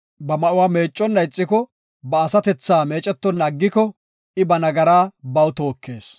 Ba ma7uwa meecconna ixiko, ba asatethaa meecetonna aggiko, I ba nagaraa baw tookees.”